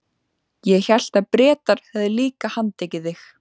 Ég hélt að Bretar hefðu líka handtekið þig?